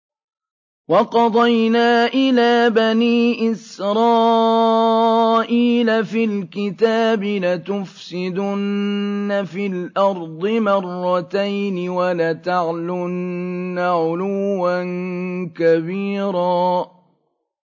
وَقَضَيْنَا إِلَىٰ بَنِي إِسْرَائِيلَ فِي الْكِتَابِ لَتُفْسِدُنَّ فِي الْأَرْضِ مَرَّتَيْنِ وَلَتَعْلُنَّ عُلُوًّا كَبِيرًا